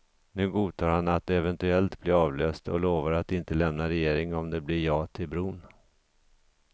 Nu godtar han att eventuellt bli avlöst och lovar att inte lämna regeringen om det blir ja till bron.